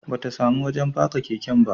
Ba ta samu wajen faka keke ba